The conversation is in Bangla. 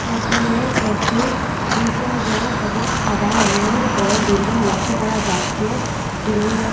এখানে একটি দুসর রং এবং সাদা রঙের বড় বিল্ডিং লক্ষ করা যাচ্চে বিল্ডিংয়ের --